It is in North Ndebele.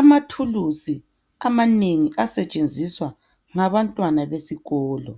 Amathulusi amanengi asebetshenzisa ngabantwana besikolo.